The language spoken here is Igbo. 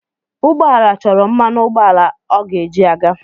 Ụgbọ ala chọrọ mmanụ ụgbọala ọ ga-eji aga.